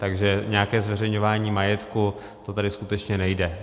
Takže nějaké zveřejňování majetku, to tady skutečně nejde.